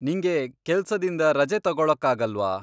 ನಿಂಗೆ ಕೆಲ್ಸದಿಂದ ರಜೆ ತಗೊಳ್ಳೊಕ್ಕಾಗಲ್ವಾ?